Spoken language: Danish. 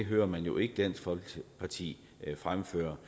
hører man jo ikke dansk folkeparti fremføre